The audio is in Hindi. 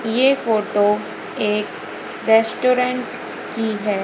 ये फोटो एक रेस्टोरेंट की है।